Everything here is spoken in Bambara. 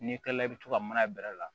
N'i kilala i bi to ka mana bɛrɛ la